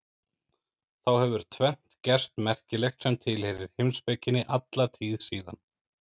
Þá hefur tvennt gerst merkilegt sem tilheyrir heimspekinni alla tíð síðan.